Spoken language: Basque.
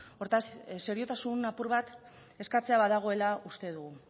hortaz seriotasun apur bat eskatzea badagoela uste dugu